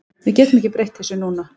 Við getum ekki breytt þessu núna.